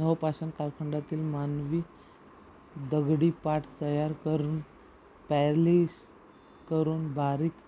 नवपाषाण कालखंडातील मानवांनी दगडी पाट तयार करून पॉलिश करून बारीक